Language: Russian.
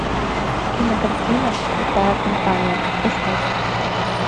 кинокартина крутая компания искать